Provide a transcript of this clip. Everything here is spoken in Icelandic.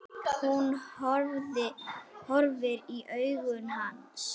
Hún horfir í augu hans.